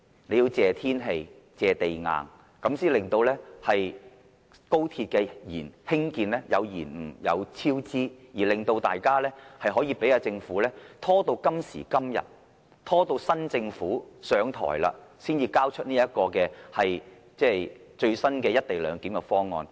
政府要感謝天氣，感謝地硬，這樣才能令高鐵工程延誤和超支，令大家可以讓政府拖拉至今時今日，拖拉至新政府上台才提交這項最新的"一地兩檢"方案。